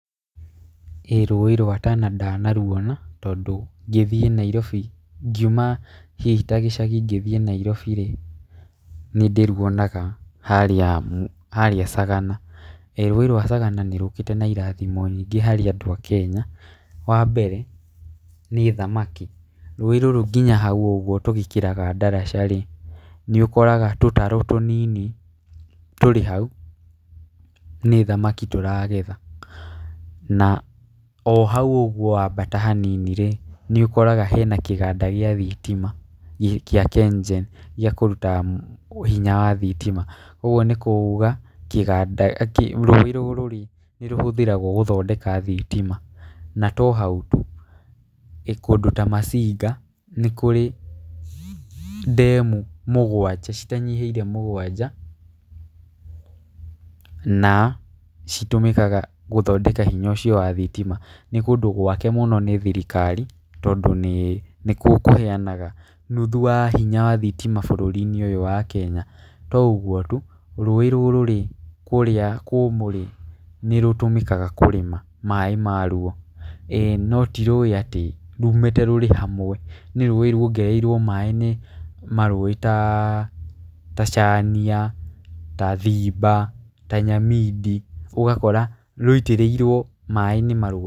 ĩĩ rũĩ rwa Tana ndanaruona, tondũ ngiuma ta gĩcagi ngĩthiĩ Nairobi rĩ nĩ ndĩruonaga harĩa Sagana. ĩĩ rũĩ rwa Tana nĩ rũkĩte na irathimo nyingĩ harĩ andũ a Kenya, wa mbere nĩ thamaki rũĩ rũrũ nginya hau ũguo tũgĩkĩraga ndaraca rĩ nĩ ũkoraga tũtarũ tũ nini tũrĩ hau na nĩ nthamaki tũragetha. Na ohau guo wambata ha nini rĩ nĩ ũkoraga hena kĩganda gĩa thitima gĩa Ken Gen gĩa kũruta hinya wa thitima. Ũguo nĩ kuga rũrĩ rũrũ rĩ nĩ rũhũthĩragwo gũthondeka thitima. Na to hau tu kũndũ ta Masinga nĩ kũrĩ ndemu citanyihĩire mũgwanja na citũmĩkaga gũthondeka hinya ũcio wa thitima. Nĩ kũndũ gwake mũno nĩ thirikari tondũ nĩkuo kũheanaga nuthu wa hinya wa thitima gũkũ bũrũri-inĩ ũyũ nwa Kenya. To ũguo tu rũĩ rũrũrĩ kũrĩa kũmũ rĩ nĩ rũtũmĩkaga kũrĩ maaĩ ma ruo. ĩĩ no ti rũĩ atĩ rumĩte handũ hamwe nĩ rũĩ ryuongereirwo maaĩ nĩ marũĩ ta Chania ta Thiba ta Nyamindi, ũgakora rũitĩrĩirwo maaĩ nĩ marũĩ.